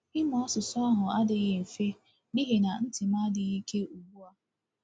Ịmụ asụsụ ahụ adịghị mfe n’ihi na ntị m adịghị ike ugbu a.